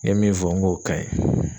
N ye min fɔ, n k'o ka ɲi.